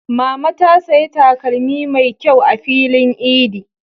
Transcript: Mama ta saya takalmi mai ƙyau a filin idi.